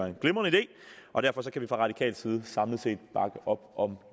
en glimrende idé og derfor kan vi fra radikal side samlet set bakke op om